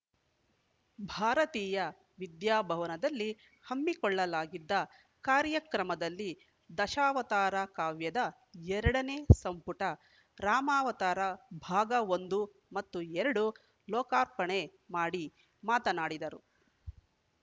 ಭಾರತೀಯ ವಿದ್ಯಾಭವನದಲ್ಲಿ ಹಮ್ಮಿಕೊಳ್ಳಲಾಗಿದ್ದ ಕಾರ್ಯಕ್ರಮದಲ್ಲಿ ದಶಾವತಾರ ಕಾವ್ಯದ ಎರಡನೇ ಸಂಪುಟ ರಾಮಾವತಾರ ಭಾಗ ಒಂದು ಮತ್ತು ಎರಡು ಲೋಕಾರ್ಪಣೆ ಮಾಡಿ ಮಾತನಾಡಿದರು